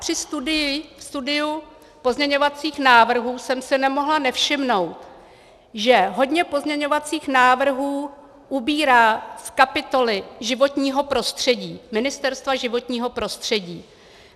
Při studiu pozměňovacích návrhů jsem si nemohla nevšimnout, že hodně pozměňovacích návrhů ubírá z kapitoly životního prostředí Ministerstva životního prostředí.